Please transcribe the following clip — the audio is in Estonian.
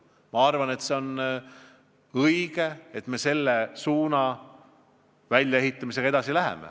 Ma arvan, et on õige selle suuna väljaehitamisega edasi minna.